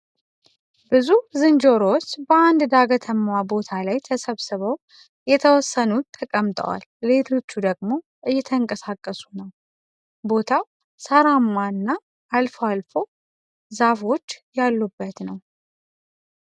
ብዙ ዝንጀሮዎች በአንድ ዳገታማ ቦታ ላይ ተሰብስበው የተወሰኑት ተቀምጠዋል ሌሎቹ ደግሞ እየተንቀሳቀሱ ነው። ቦታው ሳራማ እና አልፎ አልፎ ዛፎች ያሉበት ነው።